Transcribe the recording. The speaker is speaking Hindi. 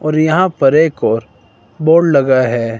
और यहां पर एक और बोर्ड लगा है।